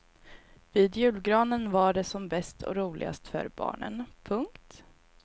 Vid julgranen var det som bäst och roligast för barnen. punkt